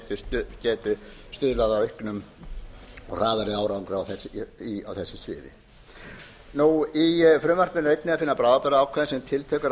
geti stuðlað að auknum og hraðari árangri á þessu sviði í frumvarpinu er einnig að finna bráðabirgðaákvæði sem tiltekur að